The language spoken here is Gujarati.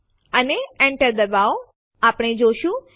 તમે એબીસી1 એબીસી2 જોઈ નથી શકતા